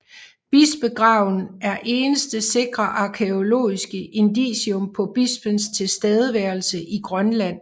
Bispegraven er eneste sikre arkæologiske indicium på bispens tilstedeværelse i Grønland